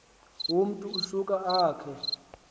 umntu usuka akhe